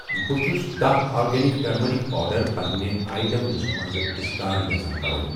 بہٕ چُھس داہ آرگینِک ٹٔرمٔرِک پوڈر پنِنہِ آیٹم لسٹہٕ منٛز ڈسکارڑ یژھان کرُن